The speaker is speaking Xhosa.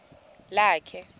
lakhe